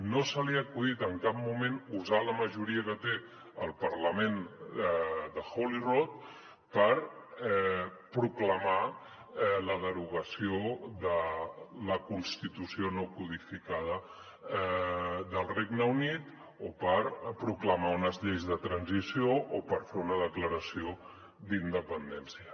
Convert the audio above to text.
no se li ha acudit en cap moment usar la majoria que té al parlament de holyrood per proclamar la derogació de la constitució no codificada del regne unit o per proclamar unes lleis de transició o per fer una declaració d’independència